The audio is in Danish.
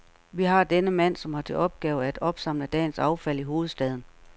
Vi har denne mand, som har til opgave at opsamle dagens affald i hovedstaden.